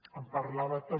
em parlava també